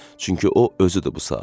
Çünki o, özüydü bu saat.